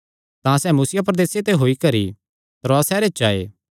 तां सैह़ मुसिया प्रदेसे ते होई करी त्रोआस सैहरे च आये